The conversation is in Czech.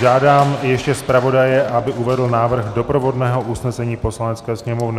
Žádám ještě zpravodaje, aby uvedl návrh doprovodného usnesení Poslanecké sněmovny.